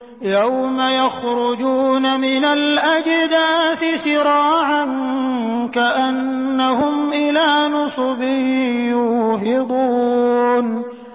يَوْمَ يَخْرُجُونَ مِنَ الْأَجْدَاثِ سِرَاعًا كَأَنَّهُمْ إِلَىٰ نُصُبٍ يُوفِضُونَ